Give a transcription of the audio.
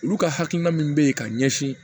Olu ka hakilina min bɛ yen ka ɲɛsin